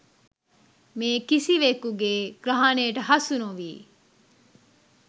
මේ කිසිවෙකුගේ ග්‍රහණයට හසු නොවී